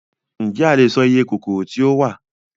Ǹjẹ́ a lè sọ iye kòkòrò tí ó wà?